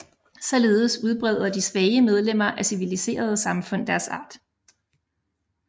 Således udbreder de svage medlemmer af civiliserede samfund deres art